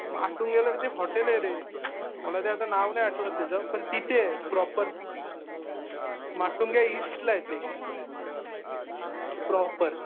माटुंग्याला तिथे हॉटेल आहे रे. मला ते आता नाव नाही आठवत त्याचं. पण तिथे प्रॉपर माटुंगा ईस्ट ला आहे ते प्रॉपर .